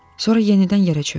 Sonra yenidən yerə çökdüm.